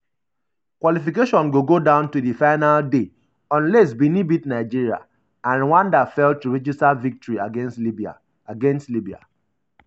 qualification go um go down um to di final day unless benin beat nigeria and rwanda fail um to register victory against libya. against libya.